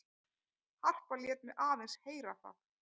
Harpa lét mig aðeins heyra það.